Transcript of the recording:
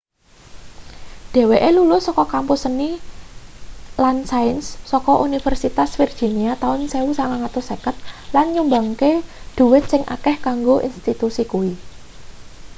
dheweke lulus saka kampus seni & sains saka universitas virginia taun 1950 lan nyumbangke dhuwit sing akeh kanggo institusi kuwi